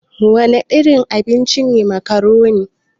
Wana irin abinci ne makaroni?